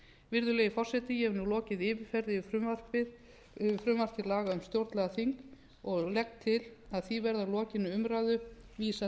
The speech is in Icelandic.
virðulegi forseti ég hef nú lokið yfirferð yfir frumvarp til laga um stjórnlagaþing og legg til að því verði að lokinni umræðu vísað